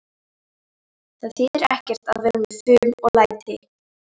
Það þýðir ekkert að vera með fum og læti.